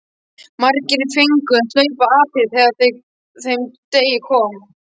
Margir fengu að hlaupa apríl þegar að þeim degi kom.